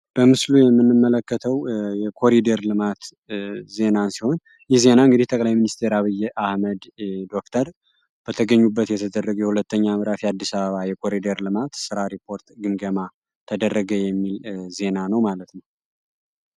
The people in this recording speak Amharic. በምስሉ ላይ የምንመለከተው የኮሪደር ልማት ዜና ሲሆን ይህ ዜና እንግዲህ ጠቅላይ ሚኒስትር አብይ አህመድ ዶክተር በተገኙበት የተደረገ ሁለተኛ ምዕራፍ የኮሪደር ልማት ስራ ግምገማ ተደረገ የሚል ዜና ነው ማለት ነው።